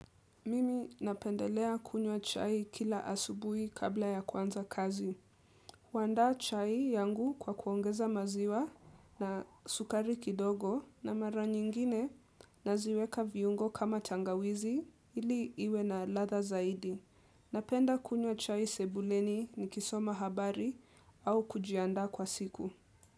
Mimi napendelea kunywa chai kila asubuhi kabla ya kwanza kazi. Kuandaa chai yangu kwa kuongeza maziwa na sukari kidogo na mara nyingine naziweka viungo kama tangawizi ili iwe na ladha zaidi. Napenda kunywa chai sebuleni nikisoma habari au kujianda kwa siku.